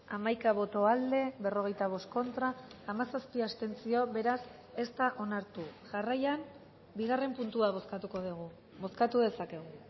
hamaika boto aldekoa berrogeita bost contra hamazazpi abstentzio beraz ez da onartu jarraian bigarren puntua bozkatuko dugu bozkatu dezakegu